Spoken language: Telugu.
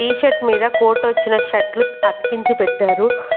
టీషర్ట్ మీద కోట్ వచ్చిన షర్ట్లు అతికించి పెట్టారు.